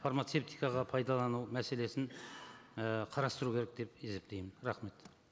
фармацевтикаға пайдалану мәселесін і қарастыру керек деп есептеймін рахмет